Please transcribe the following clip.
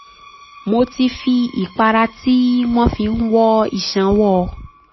mo ti fi ìpara tí um wọ́n fi ń wọ́ iṣan wọọ́ ọ